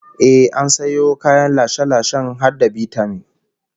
Ehh, an sayo kayan lashe-lashen har da bitamin